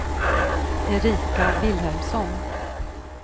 Erika Vilhelmsson